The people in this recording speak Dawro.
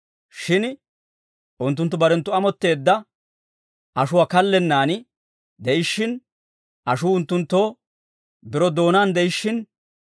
Shin unttunttu barenttu amotteedda ashuwaa kallennan de'ishiin, ashuu unttunttoo biro doonaan de'ishiin,